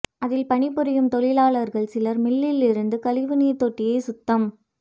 அதில் பணிபுரியும் தொழிலாளர்கள் சிலர் மில்லில் இருந்த கழிவுநீர் தொட்டியை சுத்தம்